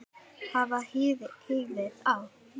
Hafið hýðið á.